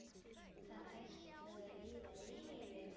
Það ætlaði að líða yfir mig.